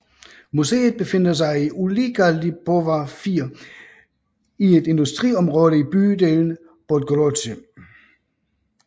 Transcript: Museet befinder sig i Ulica Lipowa 4 i et industriområde i bydelen Podgórze